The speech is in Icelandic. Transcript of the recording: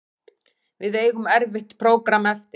Við eigum erfitt prógramm eftir